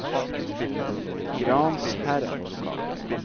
Gransherad